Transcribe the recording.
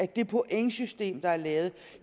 det pointsystem der er lavet